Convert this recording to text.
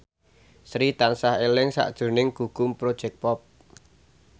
Sri tansah eling sakjroning Gugum Project Pop